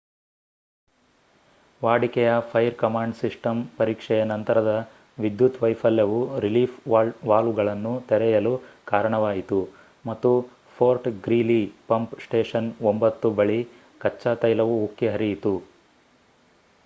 ವಾಡಿಕೆಯ fire command system ಪರೀಕ್ಷೆಯ ನಂತರದ ವಿದ್ಯುತ್ ವೈಫಲ್ಯವು ರಿಲೀಫ್ ವಾಲ್ವ್‌ಗಳನ್ನು ತೆರೆಯಲು ಕಾರಣವಾಯಿತು ಮತ್ತು ಫೋರ್ಟ್ ಗ್ರೀಲಿ ಪಂಪ್ ಸ್ಟೇಷನ್ 9 ಬಳಿ ಕಚ್ಚಾ ತೈಲವು ಉಕ್ಕಿ ಹರಿಯಿತು